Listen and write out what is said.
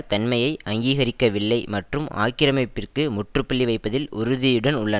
தன்மையை அங்கீகரிக்கவில்லை மற்றும் ஆக்கிரமிப்பிற்கு முற்றுப்புள்ளி வைப்பதில் உறுதியுடன் உள்ளன